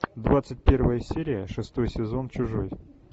двадцать первая серия шестой сезон чужой